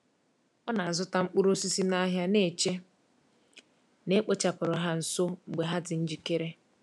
O na-azụta mkpụrụ osisi n’ahịa, na-eche na e kpochapụrụ ha nso mgbe ha dị njikere.